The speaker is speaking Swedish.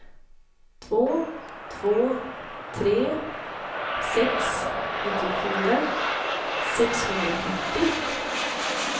två två tre sex nittiofyra sexhundrafyrtio